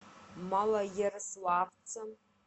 малоярославца